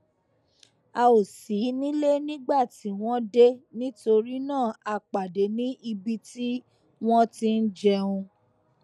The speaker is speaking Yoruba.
a ò sí nílé nígbà tí wón dé nítorí náà a pàdé ní ibi tí wón ti ń jẹun